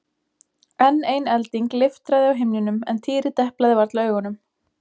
Enn ein elding leiftraði á himninum en Týri deplaði varla augunum.